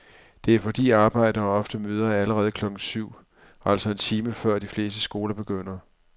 Det er fordi arbejdere ofte møder allerede klokken syv, altså en time før de fleste skoler begynder.